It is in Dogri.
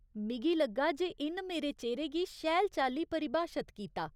मिग लग्गा जे इन मेरे चेह्‌रे गी शैल चाल्ली परिभाशत कीता।